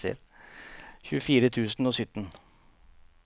tjuefire tusen og sytten